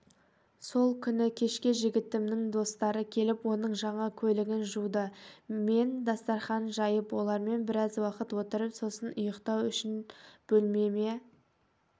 сол күні кешке жігітімнің достары келіп оның жаңа көлігін жуды мен дастархан жайып олармен біраз уақыт отырып сосын ұйықтау үшін бөлмеме